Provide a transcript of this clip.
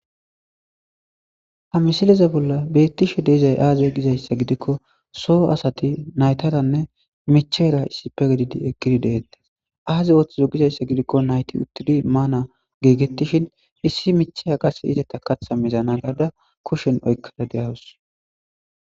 ha misileza bolla beettishe deizay aaze gizayssa gidikko soo asati naytaranne micheera issipe gedidi ekidi deettes aaze ooththizo gizayssa gidikko nayti uttidi maana giigettishin issi micheya qase izeta katha mizana gaada kushen oykkada deyawus